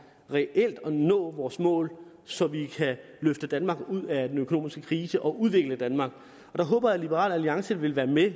reelt at nå vores mål så vi kan løfte danmark ud af den økonomiske krise og udvikle danmark her håber jeg at liberal alliance vil være med